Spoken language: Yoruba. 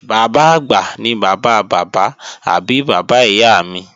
Bàbá-àgbà ni bàbá bàbá àbí bàbá ìyá mi